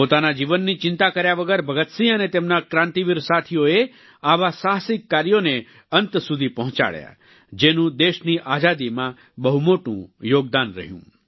પોતાના જીવનની ચિંતા કર્યા વગર ભગતસિંહ અને તેમના ક્રાંતિવીર સાથીઓએ આવા સાહસિક કાર્યોને અંત સુધી પહોંચાડ્યા જેનું દેશની આઝાદીમાં બહુ મોટું યોગદાન રહ્યું